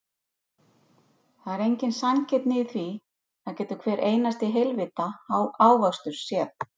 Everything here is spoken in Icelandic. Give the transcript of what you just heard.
Það er engin sanngirni í því, það getur hver einasti heilvita ávöxtur séð.